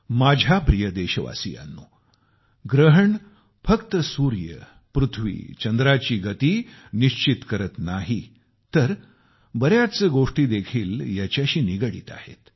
माझ्या प्रिय देशवासियांनो सूर्य पृथ्वी चंद्राची गती फक्त ग्रहण निश्चित करत नाही तर बऱ्याच गोष्टी देखील याच्याशी निगडीत आहेत